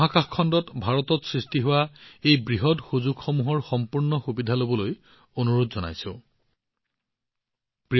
মহাকাশ খণ্ডত ভাৰতত সৃষ্টি হোৱা এই বৃহৎ সুযোগসমূহৰ সম্পূৰ্ণ সুবিধা লবলৈ মই অধিকসংখ্যক ষ্টাৰ্টআপ আৰু উদ্ভাৱকসকলক অনুৰোধ জনাইছো